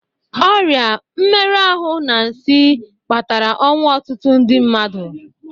Ọrịa, mmerụ ahụ, na nsị kpatara ọnwụ ọtụtụ ndi mmadụ